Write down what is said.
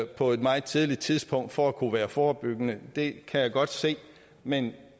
på et meget tidligt tidspunkt for at kunne være forebyggende det kan jeg godt se men